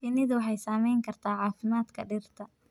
Shinnidu waxay saameyn kartaa caafimaadka dhirta.